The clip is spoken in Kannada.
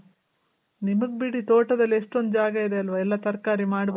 ನಿಮಗ್ ಬಿಡಿ ತೋಟದಲ್ ಎಷ್ಟೊಂದ್ ಜಾಗ ಇದೆ ಅಲ್ವ ಎಲ್ಲ ತರಕಾರಿ ಮಾಡ್ಬೋದ್ .